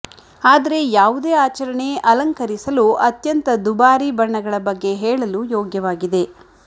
ಆದರೆ ಯಾವುದೇ ಆಚರಣೆ ಅಲಂಕರಿಸಲು ಅತ್ಯಂತ ದುಬಾರಿ ಬಣ್ಣಗಳ ಬಗ್ಗೆ ಹೇಳಲು ಯೋಗ್ಯವಾಗಿದೆ